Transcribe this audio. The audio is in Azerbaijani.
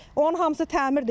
Onun hamısı təmirdir.